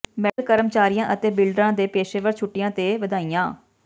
medical ਕਰਮਚਾਰੀਆਂ ਅਤੇ ਬਿਲਡਰਾਂ ਦੇ ਪੇਸ਼ੇਵਰ ਛੁੱਟੀ ਤੇ ਵਧਾਈਆਂ